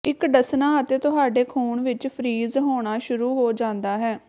ਇੱਕ ਡੱਸਣਾ ਅਤੇ ਤੁਹਾਡੇ ਖੂਨ ਵਿੱਚ ਫਰੀਜ ਹੋਣਾ ਸ਼ੁਰੂ ਹੋ ਜਾਂਦਾ ਹੈ